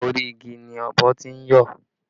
Orí igi ni ọ̀bọ tí ń yọ̀